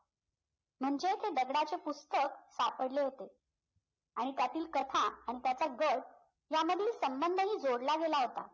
म्हणजे ते दगडाचे पुस्तक सापडले होते आणि त्यातील कथा आणि त्याचा गट यामधील संबंधही जोडला गेला होता